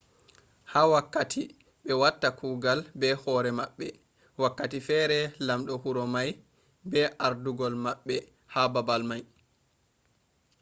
ha wakkati be watta kugal be hore mabbe wakkati fere lamdo huro mai be ardugol mabbe ha babal mai